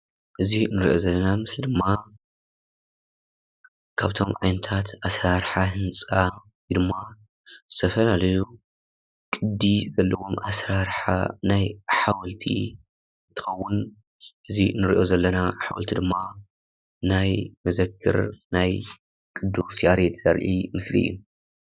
እዚ ንሪኦ ዘለና ምስሊ ድማ ካብቶም ዓይነታት ኣሰራርሓ ህንፃ ወይ ድማ ዝተፈላለዩ ቅዲ ዘለዎም ኣሰራርሓ ናይ ሓወልቲ እንትኸውን እዚ ንሪኦ ዘለና ሓወልቲ ድማ ናይ መዘክር ናይ ቅዱስ ያሬድ ዘርኢ ምስሊ እዩ፡፡